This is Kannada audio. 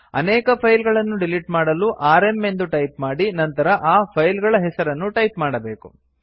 ಅನೇಕ ಫೈಲ್ಗಳನ್ನು ಡಿಲಿಟ್ ಮಾಡಲು ಆರ್ಎಂ ಎಂದು ಟೈಪ್ ಮಾಡಿ ನಂತರ ಆ ಫೈಲ್ ಗಳ ಹೆಸರನ್ನು ಟೈಪ್ ಮಾಡಬೇಕು